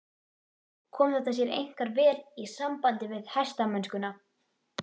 Kom þetta sér einkar vel í sambandi við hestamennskuna.